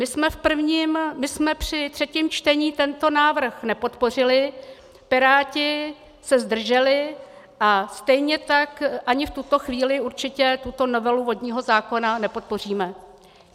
My jsme při třetím čtení tento návrh nepodpořili, Piráti se zdrželi, a stejně tak ani v tuto chvíli určitě tuto novelu vodního zákona nepodpoříme.